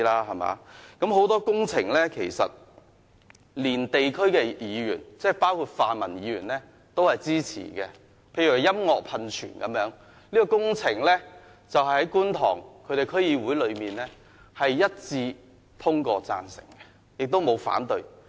其實，很多工程是區議員，包括泛民的區議員都很支持的，例如音樂噴泉，該項工程在觀塘區議會中獲一致贊成通過，無人反對。